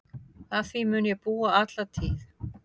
Að því mun ég búa alla tíð.